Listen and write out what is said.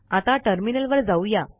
आता टर्मिनलवर जाऊया